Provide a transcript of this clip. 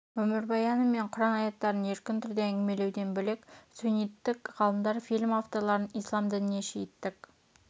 өмірбаяны мен құран аяттарын еркін түрде әңгімелеуден бөлек сүнниттік ғалымдар фильм авторларын ислам дініне шииттік